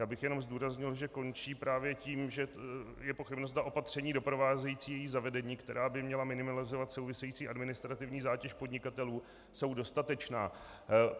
Já bych jenom zdůraznil, že končí právě tím, že je pochybnost, zda opatření doprovázející její zavedení, která by měla minimalizovat související administrativní zátěž podnikatelů, jsou dostatečná.